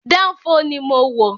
Dánfó ni mo wọ̀